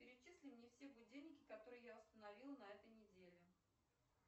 перечисли мне все будильники которые я установила на этой неделе